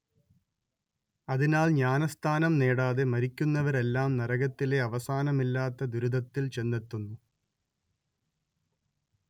അതിനാൽ ജ്ഞാനസ്നാനം നേടാതെ മരിക്കുന്നവരെല്ലാം നരകത്തിലെ അവസാനമില്ലാത്ത ദുരിതത്തിൽ ചെന്നെത്തുന്നു